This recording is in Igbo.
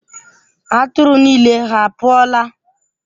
Atụrụ niile ha pụọla?